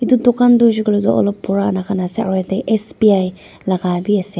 etu dukan toh hoisey koiley olop pura la ka ase aro etey sbi la ka b ase.